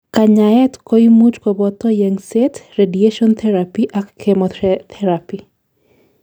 kanyaet koimuch koboto yengset, radiation therapy ak chemotherapy